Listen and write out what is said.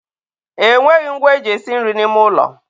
e nweghị ngwa e ji esi nri n'ime ụlọ.